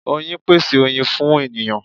Oyin pese oyin fun eniyan